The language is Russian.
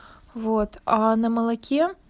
вот оо на молоке